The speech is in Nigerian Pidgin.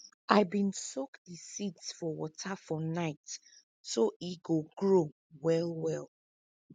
i bin soak di seeds for water for night so e go grow well well